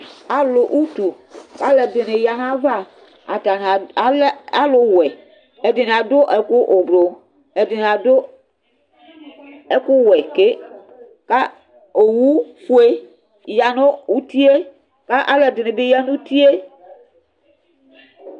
Alʋ utu kʋ alʋɛdini yanʋ ayʋ ava Atani alɛ alʋwɛ, ɛdini adʋ ɛkʋ ʋblʋ, ɛdini adʋ ɛkʋwɛ ke, kʋ owʋfue yanʋ utie Kʋ alʋɛdini bi yanʋ utie